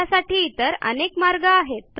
त्यासाठी इतर अनेक मार्ग आहेत